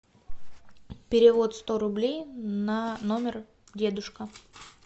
перевод сто рублей на номер дедушка